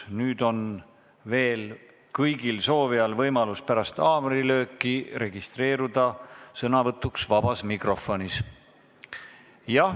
Nüüd on kõigil soovijail pärast haamrilööki võimalik registreeruda sõnavõtuks vabas mikrofonis.